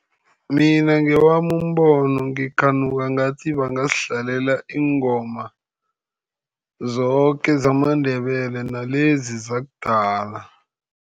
Mina ngewami umbono, ngikhanuka ngathi bangasidlalela iingoma zoke zamaNdebele, nalezi zakudala.